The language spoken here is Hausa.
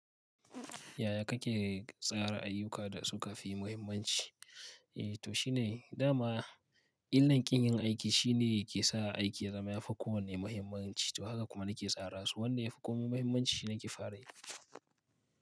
Yaya kake tsara ayyuka da suka fi muhimmanci? Eh to shi ne, dama illar ƙin yin aiki shi ne yake sa aiki ya zama yafi kowanne muhimmanci. To haka kuma nake tsara su, wanda yafi komai muhimmanci shi nake fara yi.